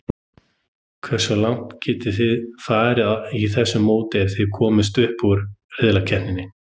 Hversu langt getum við farið í þessu móti ef við komumst upp úr riðlakeppninni?